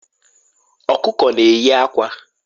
Ọkụkọ na-eyi akwa.